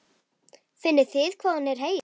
Finnið þið hvað hún er heit?